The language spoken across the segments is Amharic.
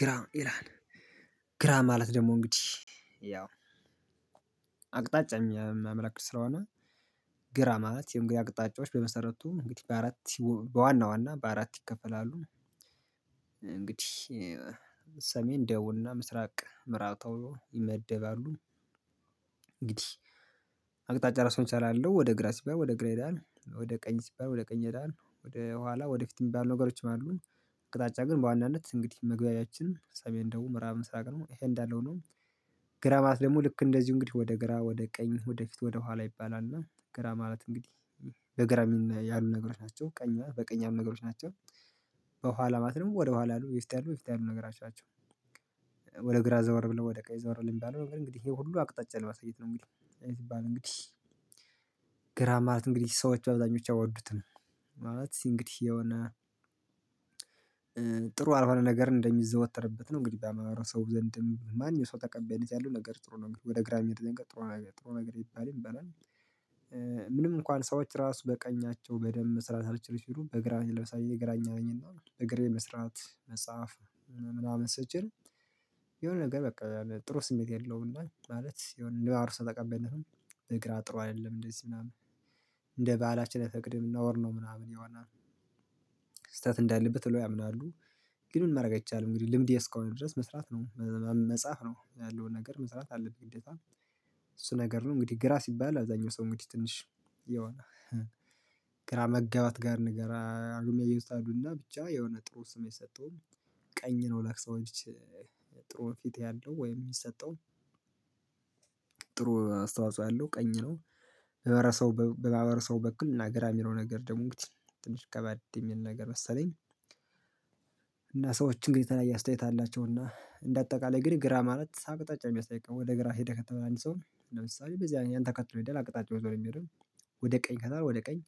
ግራ ይላል ግራ ማለት ደግሞ እንግዲህ ያው አቅጣጫ የሚያመለክት ስለሆነ ግራ ማለት እንግዲህ አቅጣጫዎች በመሰረቱ እንግዲህ በአራት በዋና ዋና በአራት ይከፈላሉ እንግዲህ ሰሜን ደቡብና ምስራቅ ምዕራብ ተብሎ ይመደባሉ። እንግዲህ አቅጣጫ ራሱን ይሰራሉ ወደ ግራ ሲባል ወደ ግራ ይሄዳል ወደ ቀኝ ሲባል ወደ ቀኝ ይሄዳል ወደ ኋላ ወደፊት የሚባሉ ነገሮችም አሉ። አቅጣጫ ግን በዋናነት እንግዲህ መግባቢያችን ሰሜን ደቡብ ምዕራብ ምስራቅ ነው። ይሄ እንዳለ ሆኖ ግራ ማለት ደግሞ ልክ እንደዚሁ እንግዲህ ወደ ግራ ወደ ቀኝ ወደፊት ወደ ኋላ ይባላል እና ግራ ማለት እንግዲህ በግራ ያሉ ነገሮች ናቸው ቀኛ በቀኝ ያሉ ነገሮች ናቸው። በኋላ ማለት ደግሞ ወደ ኋላ ያሉ የፊት ያሉ ወይ ፊት ያሉ ነገራቶች ናቸው። ወደ ግራ ዘወር ብለው ወደ ቀኝ ዘወር ሚባለው እንግዲህ ይሄ ሁሉ አቅጣጫ ለማሳየት ነው። እንግዲህ ይሄ ሲባል እንግዲህ ግራ ማለት እንግዲህ ሰዎች በኣብዛኞች አይወዱትም። ማለት እንግዲህ የሆነ ጥሩ ያልሆነ ነገር እንደሚዘወተርበት ነው እንግዲህ በማህበረሰቡ ዘንድም በማንኛውም ሰው ተቀባይነት ያለው ነገር ጥሩ ነው እንግዲህ ወደ ግራ የሚሄድ ጥሩ ነገር ጥሩ ነገር ይባ ይባላል። ምንም እንኳን ሰዎች ራሱ በቀኛቸው በደንብ መስራት አልችል ሲሉ በግራ ለምሳሌ እኔ ግራኛ ነኝ እና በግራየ መስራት መጻፍ ምናምን ስችል። የሆነ ነገር በቃ ጥሩ ስሜት የለውም። እና ማለት የሆነ እንደ ማህበረሰብ ተቀባይነትም በግራ ጥሩ አይደለም እንደዚህ ምናምን እንደ ባህላችን አይፈቅድም ነውር ነው። ምናምን የሆነ ስህተት እንዳለበት ብለው ያምናሉ። ግን ምን ማድረግ አይቻልም እንግዲህ ልምዴ እስከሆነ ድረስ መስራት ነው። መጻፍ ነው ያለውን ነገር መስራት አለብኝ። ግዴት እሱ ነገር ነው እንግዲህ ግራ ሲባል አብዛኛው ሰው እንግዲህ ትንሽ የሆነ ግራ መጋባት ጋር ንገራ አሉሜ የኡሳዱና ብቻ የሆነ ጥሩ ስም አይሰጠውም። ቀኝ ነው ለሰዎች። ጥሩውን ፊት ያለው ወይም የሚሰጠው ጥሩ አስተዋጽኦ ያለው ቀኝ ነው። በማህበረሰቡ በማህበረሰቡ በኩል እና ግራ የሚለው ነገር ደግሞ እንግዲህ ትንሽ ከበድ የሚል ነገር መሰለኝ። እና ሰዎች እንግዲህ የተለያየ አስተያየት አላቸው እና እንደ አጠቃላይ እንግዲህ ግራ ማለት አቅጣጫ የሚያሳይ ወደ ግራ ሄደህ ከተባለ አንድ ሰው ለምሳሌ በዚያ ያን ተከትሎ ይሄዳል አቅጣጫውን ይዞነው የሚሄደው። ወደ ቀኝ ከተባለ ወደ ቀኝ።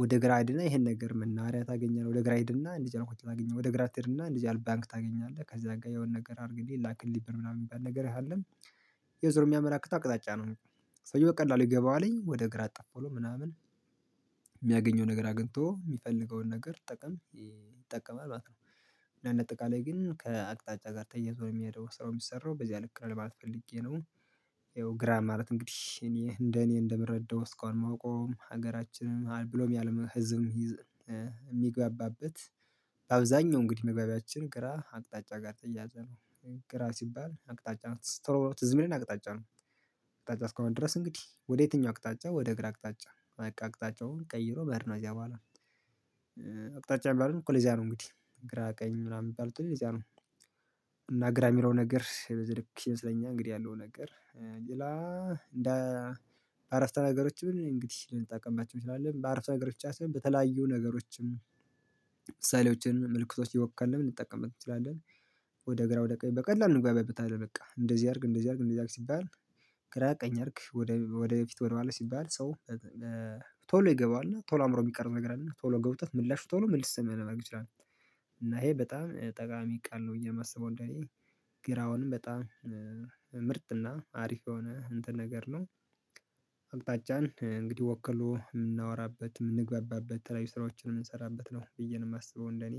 ወደ ግራ ሂድና ይሄን ነገር መናኻሪያ ታገኛለህ ወደ ግራ ሂድና እንዲች አይነት ሆቴል ታገኛለህ ወደ ግራ ትሄድና እንደዚህ አይነት ባንክ ታገኛለህ ከዛ ጋር የሆነ ነገር አድርግልኝ ላክልልኝ ብር ምናምን የሚባል ነገር ያህል ያው ዞሮ የሚያመላክት አቅጣጫ ነው። ሰውየው በቀላል ይገባዋልኝ ወደ ግራ እጥፍ ብሎ ምናምን የሚያገኘውን ነገር አግኝቶ የሚፈልገውን ነገር ጥቅም ይጠቀማል ማለት ነው። እና እንደ አጠቃላይ ግን ከአቅጣጫ ጋር ተያይዞ ነው የሚሄደው ስራው የሚሰራው በዚያ ልክ ነው ለማለት ፈልጌ ነው። ያው ግራ ማለት እንግዲህ እኔ እንደ እኔ እንደምረዳው እስካሁን የማወቀዉም ሀገራችንም ብሎም የአለም ህዝብ ይዝ የሚግባባበት በአብዛኛው እንግዲህ መግባቢያችን ግራ አቅጣጫ ጋር የተያያዘ ነው። ግራ ሲባል አቅጣጫ ነው ትዝ ቶሎ ብሎ ትዝ የሚለን አቅጣጫ ነው። አቅጣጫ እስካሁን ድረስ እንግዲህ ወደ የትኛው አቅጣጫ ወደ ግራ አቅጣጫ በቃ አቅጣጫውን ቀይሮ መሄድ ነው ከዚያ በኋላ አቅጣጫውን የሚባሉትም እኮ ለዚያ ነው እንግዲህ ግራ ቀኝ ምናምን የሚባሉት እኮ ለዚያ ነው። እና ግራ የሚለው ነገር በዚ ልክ ይመስለኛል እንግዲህ ያለው ነገር ሌላ። እንደ በአረፍተ ነገሮች ብል እንግዲህ ልንጠቀማችም እንችላለን በአረፍተ አገር ብቻ ሳይሆን በተለያዩ ነገሮችም ምሳሌዎችን ምልክቶች እየወከልን ልንጠቀምበት እንችላለን። ወደ ግራ ወደ ቀኝ በቀላሉ እንግባበታለን በቃ እንደዚህ አድርግ እንደዚህ አድርግ እንደዚህ አድርግ ሲባል። ግራ ቀኝ አድርግ ወደ ወደፊት ወደማለት ሲባል ሰው ቶሎ ይገባዋል ቶሎ አእምሮ የሚቀር ነገር አለና ቶሎ ገብቶት ምላሽ ቶሎ መልስ ማድረግ ይችላል። እና ይሄ በጣም ጠቃሚ ቃል ነው ብዬ የማስበው እንደዚህ ግን አውንም በጣም ምርጥና አሪፍ በሆነ እንትን ነገር ነው። አቅጣጫን እንግዲህ ወክሎ የምናወራበት የምንግባባበት ተለያዩ ስራዎችን የምንሰራበት ነው ብዬ ነው የማስበው እንደኔ።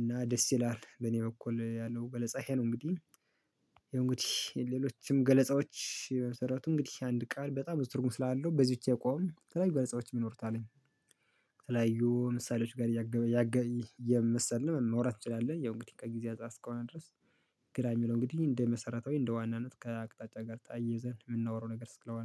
እና ደስ ይላል በኔ በኩል ያለው ገለጻ ይሄ ነው። እንግዲህ ያው እንግዲህ ሌሎችም ገለጻዎች በመሰረቱ እንግዲህ አንድ ቃል በጣም ብዙ ትርጉም ስላለው በዚች የቆም ተለያዩ ገለጻዎች ይኖሩታልኝ ተለያዩ ምሳሌዎች ጋር እያገበ እያምሰልን ማውራት እንችላለን። ያው እንግዲህ ከጊዜ አንፃር እስከሆነ ድረስ ግራ የሚለው እንግዲህ እንደ መሰረታዊ እንደ ዋናነት ከአቅጣጫ ጋር ታያይዘን የምናወራው ነገር ስለሆነ